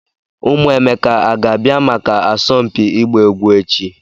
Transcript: Ụmụ Emeka a ga-abịa maka asọmpi ịgba egwu echi?